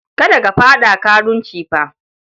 Kada ka faɗa karunci fa!